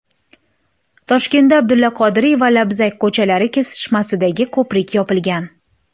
Toshkentda Abdulla Qodiriy va Labzak ko‘chalari kesishmasidagi ko‘prik yopilgan.